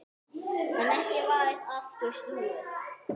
En ekki varð aftur snúið.